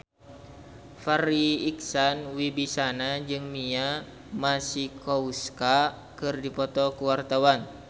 Farri Icksan Wibisana jeung Mia Masikowska keur dipoto ku wartawan